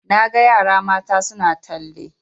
Na ga yara mata suna talle